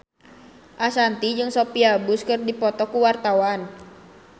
Ashanti jeung Sophia Bush keur dipoto ku wartawan